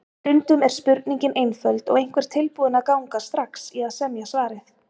Stundum er spurningin einföld og einhver tilbúinn að ganga strax í að semja svarið.